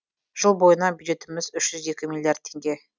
жыл бойына бюджетіміз үш жүз екі миллиард теңге